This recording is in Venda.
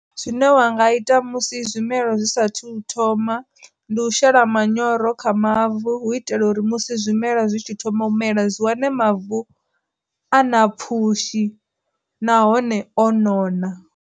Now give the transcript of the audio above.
Zwine wa nga ita musi zwimela zwi saathu u thoma, ndi u shela manyoro kha mavu u itela uri musi zwimela zwi tshi thoma u mela dzi wane mavu a na pfhushi nahone o nona.